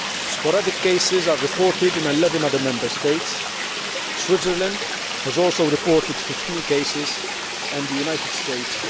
Sporadic cases are reported in 11 other Member States. Switzerland has also reported 15 cases and the United States